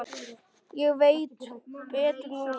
Ég veit betur núna.